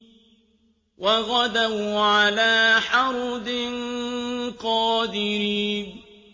وَغَدَوْا عَلَىٰ حَرْدٍ قَادِرِينَ